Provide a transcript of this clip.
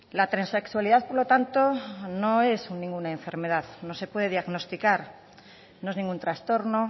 la transexualidad por lo tanto no es ninguna enfermedad no se puede diagnosticar no es ningún trastorno